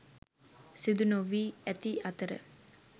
සිදු නොවී ඇති අතර